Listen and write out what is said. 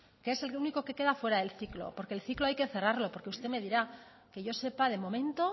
que es el único que queda fuera del ciclo porque el ciclo hay que cerrarlo porque usted me dirá que yo sepa de momento